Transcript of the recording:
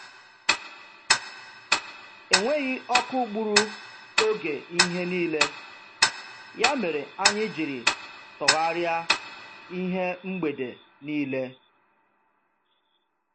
Enweghị ọkụ gburu oge ihe niile, ya mere anyị jiri tọgharịa ihe mgbede niile.